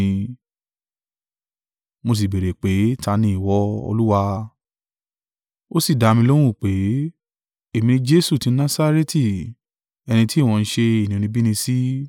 “Mo sì béèrè pé, ‘Ta ni ìwọ, Olúwa?’ “Ó sì dá mi lóhùn pé, ‘Èmi ni Jesu tí Nasareti, ẹni tí ìwọ ń ṣe inúnibíni sí.’